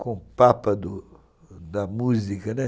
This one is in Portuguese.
com o papa da música, né?